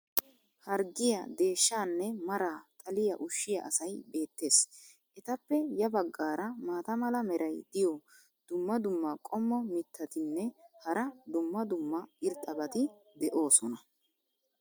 harggiya deeshshaanne maraa xalliya ushiya asay beetees. etappe ya bagaara maata mala meray diyo dumma dumma qommo mitattinne hara dumma dumma irxxabati de'oosona.